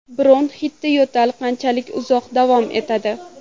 Bronxitda yo‘tal qanchalik uzoq davom etadi?